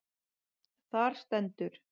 Þar stendur: